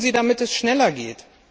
Was tun Sie, damit es schneller geht?